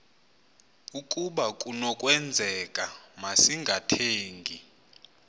ukaba kunokwenzeka masingathengi